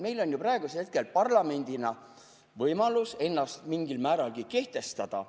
Meil on ju praegusel hetkel parlamendina võimalus ennast mingil määral kehtestada.